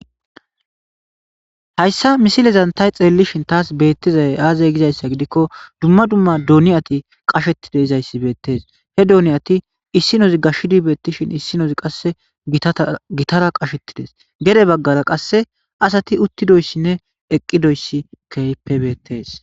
hayssa misilezan tay xeellishin taas beettizay aazay gizayssa gidikko dumma dumma doniyati qasheti dizayssi beettees he doniyati issinoz gashidi beettishin issinozi qasse gitara qashetides gede baggara qass asati uttidoyssinne eqqidoyssi keypebettes